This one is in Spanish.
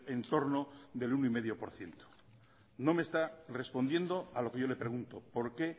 en torno del uno coma cinco por ciento no me está respondiendo a lo que yo le pregunto por qué